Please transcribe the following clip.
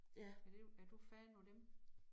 Er det er du fan af dem?